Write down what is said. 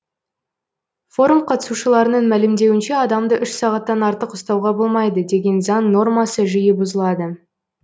форум қатысушыларының мәлімдеуінше адамды үш сағаттан артық ұстауға болмайды деген заң нормасы жиі бұзылады